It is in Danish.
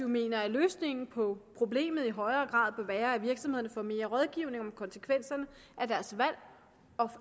mener at løsningen på problemet i højere grad må være at virksomhederne får mere rådgivning om konsekvenserne af deres valg og